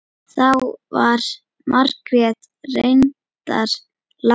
Þá var Margrét reyndar látin.